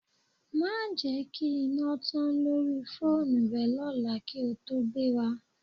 Má jẹ kí iná tán lórí fóònù rẹ lọ́la kí ó tó gbéra